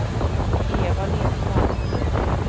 Eva Lindmark